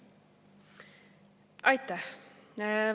Aitäh!